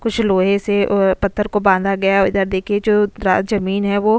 कुछ लोहे से ओए पत्थर को बांधा गया और इधर देखिए जो द्र जमीन है वो --